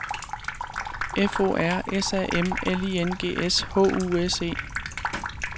F O R S A M L I N G S H U S E